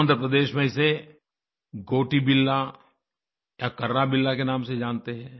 आंध्रप्रदेश में इसे गोटिबिल्ला या कर्राबिल्ला के नाम से जानते हैं